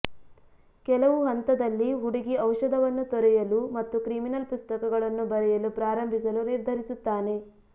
ಕೆಲವು ಹಂತದಲ್ಲಿ ಹುಡುಗಿ ಔಷಧವನ್ನು ತೊರೆಯಲು ಮತ್ತು ಕ್ರಿಮಿನಲ್ ಪುಸ್ತಕಗಳನ್ನು ಬರೆಯಲು ಪ್ರಾರಂಭಿಸಲು ನಿರ್ಧರಿಸುತ್ತಾನೆ